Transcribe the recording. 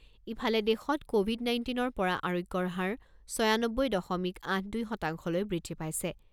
ইফালে, দেশত ক'ভিড নাইণ্টিনৰ পৰা আৰোগ্যৰ হাৰ ছয়ানব্বৈ দশমিক আঠ দুই শতাংশলৈ বৃদ্ধি পাইছে।